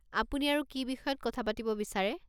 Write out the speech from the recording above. আপুনি আৰু কি বিষয়ত কথা পাতিব বিচাৰে?